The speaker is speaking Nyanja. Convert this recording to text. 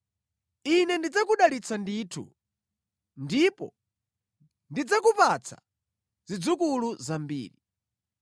“Ine ndidzakudalitsa ndithu, ndipo ndidzakupatsa zidzukulu zambiri.”